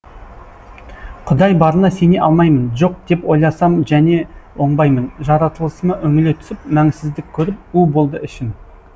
құдай барына сене алмаймын жоқ деп ойласам және оңбаймын жаратылысыма үңіле түсіп мәнсіздік көріп у болды ішім